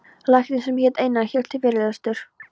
Læknir sem hét Einar hélt fyrirlestur.